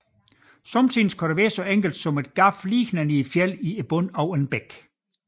Nogen gange kan det være så enkelt som et hul lige ned i fjeldet i bunden af en bæk